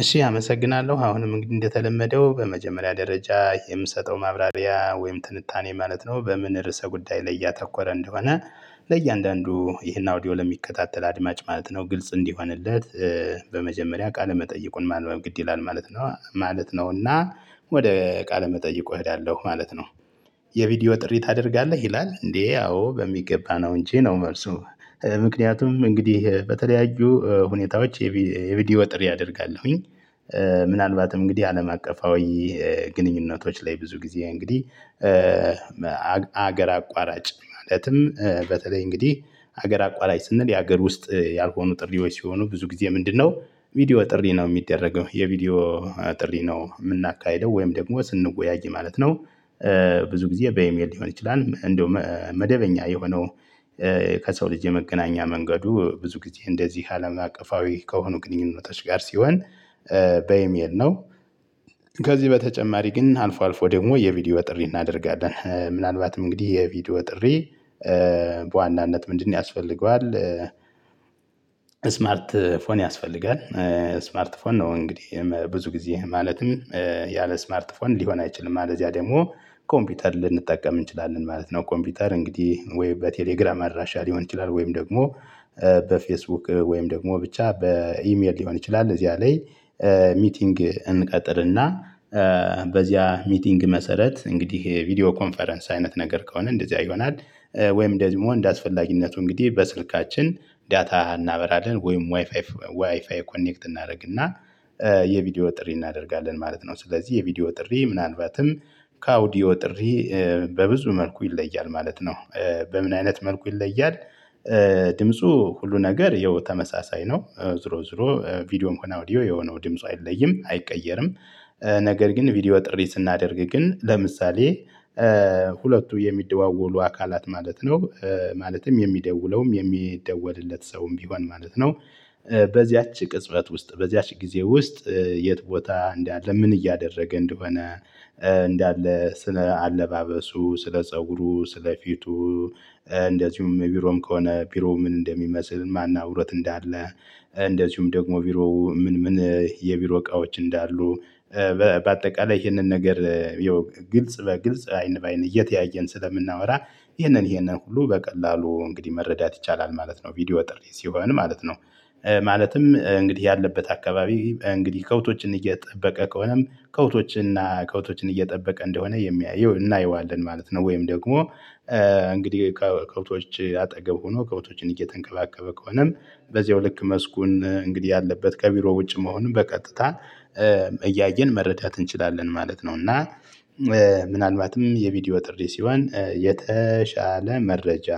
እሺ አመሰግናለሁ አሁንም እንግዲህ እንደተለመደው በመጀመሪያ ደረጃ የምሰጠው ማብራሪያ ወይም ትንታኔ ማለት ነው በምን ርዕሰ ጉዳይ ላይ እያተኮረ እንደሆነ። ለእያንዳንዱ ይህን አውዲዮ ለሚከታተል አድማጭ ማለት ነው ግልጽ እንዲሆንለት። በመጀመሪያ ቃለ መጠየቁን ማንበብ ግድ ይላል ማለት ነው ማለት ነው። እና ወደ ቃለ መጠይቁ እሄዳለሁ ማለት ነው። የቪዲዮ ጥሪ ታደርጋለህ ይላል እንዴ? አዎ በሚገባ ነው እንጂ ነው መልሱ ምክንያቱም እንግዲህ በተለያዩ ሁኔታዎች የቢዲዮ ጥሪ አደርጋለሁኝ። ምናልባትም እንግዲህ አለም አቀፋዊ ግንኙነቶች ላይ ብዙ ጊዜ እንግዲህ። ሀገር አቋራጭ ማለትም በተለይ እንግዲህ ሀገር አቋራጭ ስንል የሀገር ውስጥ ያልሆኑ ጥሪዎች ሲሆኑ ብዙ ጊዜ ምንድ ነው? ቪዲዮ ጥሪ ነው ሚደረገው የቪዲዮ ጥሪ ነው ምናካሂደው ወይም ደግሞ ስንወያይ ማለት ነው። ብዙ ጊዜ በኢሜል ሊሆን ይችላል። እንደውም መደበኛ የሆነው። ከሰው ልጅ የመገናኛ መንገዱ ብዙ ጊዜ እንደዚህ አለም አቀፋዊ ከሆኑ ግንኙነቶች ጋር ሲሆን በኢሜል ነው። ከዚህ በተጨማሪ ግን አልፎ አልፎ ደግሞ የቪዲዮ ጥሪ እናደርጋለን ምናልባትም እንግዲህ የቪዲዮ ጥሪ በዋናነት ምንድን ያስፈልገዋል? እስማርት ፎን ያስፈልጋል። ስማርት ፎን ነው እንግዲህ ብዙ ጊዜ ማለትም ያለ ስማርት ፎን ሊሆን አይችልም። አለዚያ ደግሞ ኮምፒውተር ልንጠቀም እንችላለን ማለት ነው። ኮምፒውተር እንግዲህ ወይ በቴሌግራም አድራሻ ሊሆን ይችላል ወይም ደግሞ በፌስቡክ ወይም ደግሞ ብቻ በኢሜል ሊሆን ይችላል እዚያ ላይ። ሚቲንግ እንቀጥር እና በዚያ ሚቲንግ መሰረት እንግዲህ ይሄ ቪዲዮ ኮንፈረንስ አይነት ነገር ከሆነ እንደዚህ ይሆናል። ወይም ደዝሞ እንደ አስፈላጊነቱ እንግዲህ በስልካችን ዳታ እናበራለን ወይም ዋይፋይ ኮኔክት እናረግና የቪዲዮ ጥሪ እናደርጋለን ማለት ነው። ስለዚህ የቪዲዮ ጥሪ ምን አልባትም ከ አውዲዮ ጥሪ በብዙ መልኩ ይለያል ማለት ነው። በምን አይነት መልኩ ይለያል? ድምፁ ሁሉ ነገር ይኸው ተመሳሳይ ነው ዙሮ ዙሮ ቪዲዮም ሆነ አውዲዮ የው ነው ድምጽ አይለይም አይቀየርም። ነገር ግን ቪዲዮ ጥሪ ስናደርግ ግን ለምሳሌ ሁለቱ የሚደዋወሉ አካላት ማለት ነው። ማለትም የሚደውለውም የሚደወልለት ሰውም ቢሆን ማለት ነው። በዚያች ቅጽበት ውስጥ በዚያች ጊዜ ውስጥ የት ቦታ እንዳለ ምን እያደረገ እንደሆነ። እንዳለ ስለ አለባበሱ ስለ ፀጉሩ ስለ ፊቱ። እንደዚሁም ቢሮም ከሆነ ቢሮ ምን እንደሚመስል ማና እብሮት እንዳለ። እንደዚሁም ደግሞ ቢሮ ምን ምን የቢሮ እቃዎች እንዳሉ። በአጠቃላይ እሂንን ነገር የው ግልጽ በግልጽ አይን በአይን እየተያየን ስለምናወራ ይህነን ይህነን ሁሉ በቀላሉ እንግዲህ መረዳት ይቻላል ማለት ነው ቪዲዮ ጥሪ ሲሆን ማለት ነው። ማለትም እንግዲህ ያለበት አካባቢ እንግዲህ ከብቶችን እየጠበቀ ከሆነም ከብቶችን እና ከብቶችን እየጠበቀ እንደሆነ የሚያየው እናየዋለን ማለት ነው። ወይም ደግሞ እንግዲህ ከከብቶች አጠገብ ሆኖ ከብቶችን እየተንከባከበ ከሆነም። በዚያው ልክ መስኩን እንግዲህ ያለበት ከቢሮ ውጭ መሆኑን በቀጥታ እያየን መረዳት እንችላለን ማለት ነው። እና ምናልባትም የቪዲዮ ጥሪ ሲሆን የተሻለ መረጃ